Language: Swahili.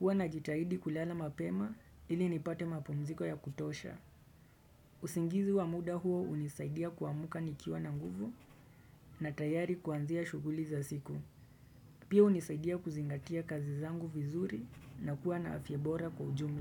Huwa najitahidi kulala mapema ili nipate mapumziko ya kutosha. Usingizi wa muda huo unisaidia kwa muka nikiwa na nguvu na tayari kuanzia shuguli za siku. Pia hunisaidia kuzingatia kazi zangu vizuri na kuwa na afya bora kwa ujumla.